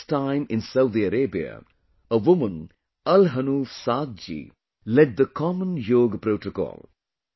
For the first time in Saudi Arabia, a woman, Al Hanouf Saad ji, led the common yoga protocol